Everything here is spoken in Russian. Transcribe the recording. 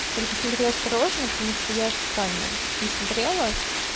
только смотри осторожно потому что я специально не смотрела